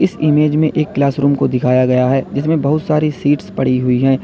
Image में एक class room को दिखाया गया है जिसमें बहुत सारी सीट्स पड़ी हुई हैं।